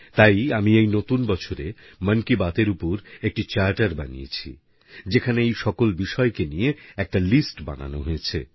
তাই আমি এই নতুন বছরে মন কি বাতএর উপর একটি চার্টার বানিয়েছি যেখানে এই সকল বিষয়কে নিয়ে একটা লিস্ট বানানো হয়েছে